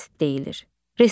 KS deyilir.